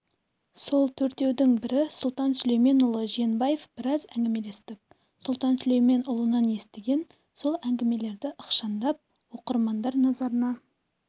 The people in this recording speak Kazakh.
сол төртеудің бірі сұлтан сүлейменұлы жиенбаев біраз әігімелестік сұлтан сүлейменұлынан естіген сол әңгімелерді ықшамдап оқырман назарына